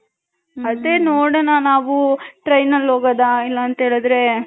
ಅದೇ ನೋಡನ ನಾವು train ಅಲ್ಲಿ ಹೋಗದ ಇಲ್ಲ ಅಂತೆ ಹೇಳದ್ರೆ .